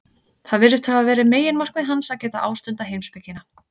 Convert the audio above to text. Það virðist hafa verið meginmarkmið hans, að geta ástundað heimspekina.